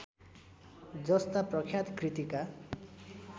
जस्ता प्रख्यात कृतिका